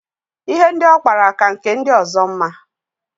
Ihe ndị ọ kpara ka nke ndi ọzọ mma.